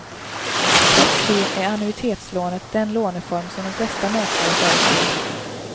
Trots det är annuitetslånet den låneform som de flesta mäklare föreslår.